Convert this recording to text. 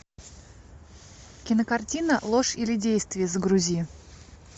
кинокартина ложь или действие загрузи